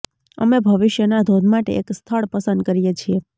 અમે ભવિષ્યના ધોધ માટે એક સ્થળ પસંદ કરીએ છીએ